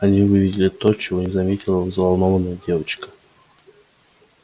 они увидели то чего не заметила взволнованная девочка